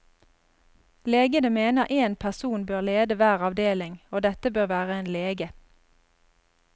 Legene mener én person bør lede hver avdeling, og dette bør være en lege.